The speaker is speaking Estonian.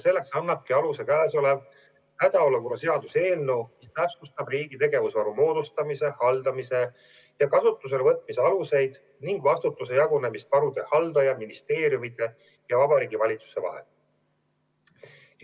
Selleks annabki aluse käesolev hädaolukorra seaduse eelnõu, mis täpsustab riigi tegevusvaru moodustamise, haldamise ja kasutusele võtmise aluseid ning vastutuse jagunemist varude haldaja, ministeeriumide ja Vabariigi Valitsuse vahel.